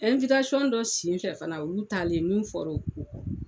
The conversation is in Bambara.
dɔ senfɛ fana olu taalen min fɔra ko